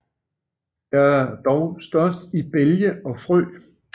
Det er dog størst i bælge og frø